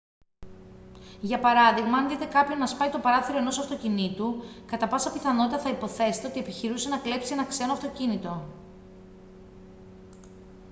για παράδειγμα αν δείτε κάποιον να σπάει το παράθυρο ενός αυτοκινήτου κατά πάσα πιθανότητα θα υποθέσετε ότι επιχειρούσε να κλέψει ένα ξένο αυτοκίνητο